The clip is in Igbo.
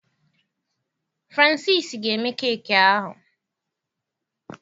Francis ga eme keki ahụ